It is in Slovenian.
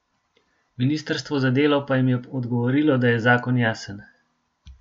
Ministrstvo za delo pa jim je odgovorilo, da je zakon jasen.